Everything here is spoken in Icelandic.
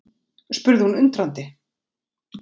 spurði hún undrandi.